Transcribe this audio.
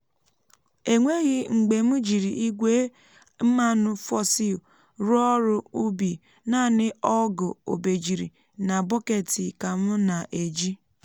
e nweghị mgbe m jiri igwe mmanụ fossil rụọ ọrụ ubi naanị ọgù obejiri na bọketi ka m na-eji.